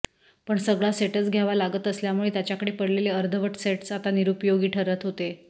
पण सगळा सेटच घ्यावा लागत असल्यामुळे त्याच्याकडे पडलेले अर्धवट सेटस आता निरुपयोगी ठरत होते